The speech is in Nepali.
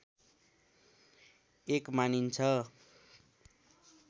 एक मानिन्छ